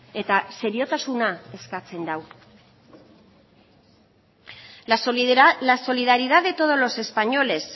eta seriotasuna eskatzen du la solidaridad de todos los españoles